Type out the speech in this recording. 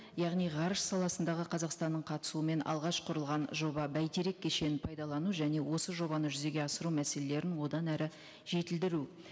яғни ғарыш саласындағы қазақстанның қатысуымен алғаш құрылған жоба бәйтерек кешенін пайдалану және осы жобаны жүзеге асыру мәселелерін одан әрі жетілдіру